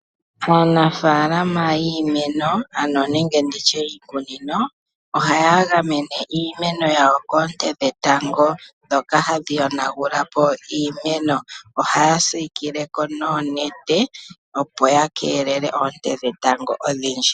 Aanafaalama yiimeno nenge nditye yiikunino ohaya gamene iiyawo koonte dhetango oshoka hadhi yonagulapo iimeno. Ohaya siikileko noonete opo ya keelele oonte dhetango odhindji.